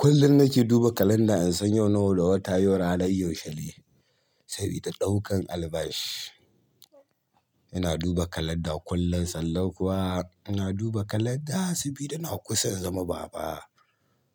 Kullum nake duba kalanda in san yau nawa ga wata in san yau ranar yaushe ne sabida ɗaukar albashi. Ina duba kalanda kullum, sannan kuwa ina duba kalanda sabida na kusan zama baba.